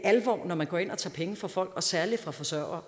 alvor når man går ind og tager penge fra folk og særlig fra forsørgere